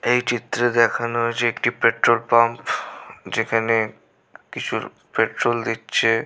এই চিত্র দেখানো হয়েছে একটি পেট্রোল পাম্প যেখানে কিছু পেট্রোল দিচ্ছে।